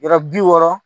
Yɔrɔ bi wɔɔrɔ